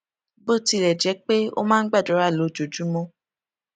bó tilè jé pé ó máa ń gbàdúrà lójoojúmó